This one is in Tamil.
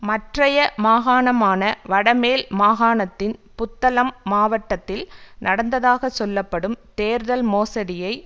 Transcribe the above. மற்றைய மாகாணமான வடமேல் மாகாணத்தின் புத்தளம் மாவட்டத்தில் நடந்ததாக சொல்ல படும் தேர்தல் மோசடியை